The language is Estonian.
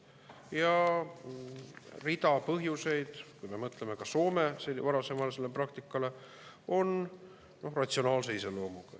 Ja rida põhjuseid, kui me mõtleme ka Soome varasemale praktikale, on ratsionaalse iseloomuga.